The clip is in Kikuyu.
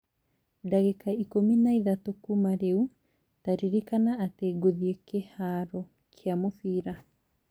ndagĩka ikũmi na ĩtatũ kuuma rĩu, ta ririkana atĩ ngũthiĩ kĩhaaro kĩa mũbira